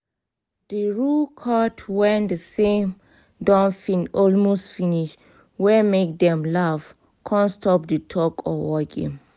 the rooe cut when the same don almost finish wey make dem laugh con stop di tug or war game